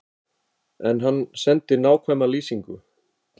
En hann sendi nákvæma lýsingu.